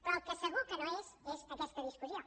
però el que segur que no és és aquesta discussió